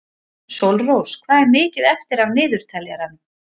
Sólrós, hvað er mikið eftir af niðurteljaranum?